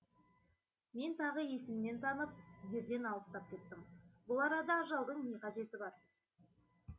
мен тағы есімнен танып жерден алыстап кеттім бұл арада ажалдың не қажеті бар